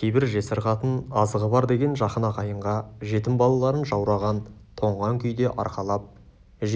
кейбір жесір қатын азығы бар деген жақын ағайынға жетім балаларын жаураған тоңған күйде арқалап